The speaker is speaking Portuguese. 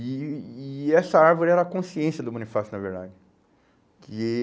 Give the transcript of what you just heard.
E e essa árvore era a consciência do Bonifácio, na verdade. Que eh